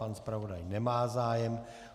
Pan zpravodaj nemá zájem.